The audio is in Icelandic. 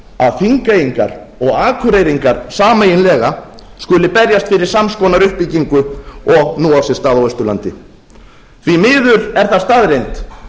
að þingeyingar og akureyringar sameiginlega skuli berjast fyrir sams konar uppbyggingu og nú á sér stað á austurlandi því miður er það staðreynd